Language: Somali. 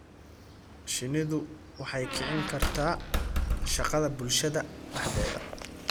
Shinnidu waxay kicin kartaa shaqada bulshada dhexdeeda.